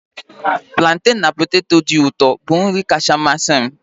Planten na poteto dị ụtọ bụ nri kacha amasị m